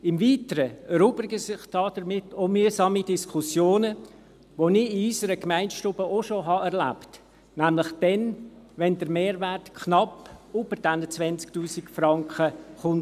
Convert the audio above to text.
Im Weiteren erübrigen sich damit auch mühsame Diskussionen, welche ich in unserer Gemeindestube auch schon erlebt habe, nämlich dann, wenn der Mehrwert knapp über den 20 000 Franken zu liegen kommt.